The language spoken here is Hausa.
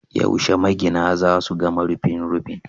Yaushe magina za su gama rufin rufin?